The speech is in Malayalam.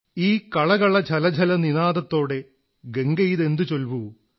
ഈ കളകള ഝലഝല നിനാദത്തോടെ ഗംഗയിതെന്തൂ ചൊൽവൂ